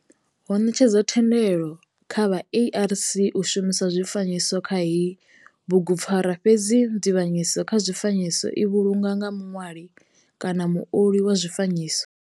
Ho netshedzwa thendelo kha vha ARC u shumisa zwifanyiso kha heyi bugupfarwa fhedzi nzivhanyedziso kha zwifanyiso i vhulungwa nga muṋwali kana muoli wa zwifanyiso.